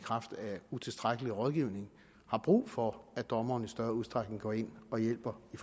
utilstrækkelig rådgivning har brug for at dommerne i større udstrækning går ind og hjælper i